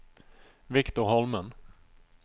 Victor Holmen